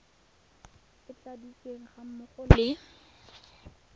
e tladitsweng ga mmogo le